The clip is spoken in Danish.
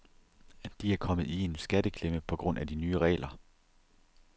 De er kommet i en skatteklemme på grund af de nye regler.